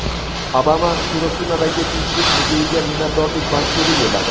Obama Xirosimadagi Tinchlik muzeyiga minnatdorlik maktubi yo‘lladi.